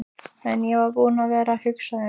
En ég var búinn að vera að hugsa um.